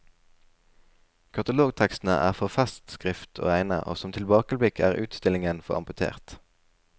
Katalogtekstene er for festskrift å regne og som tilbakeblikk er utstillingen for amputert.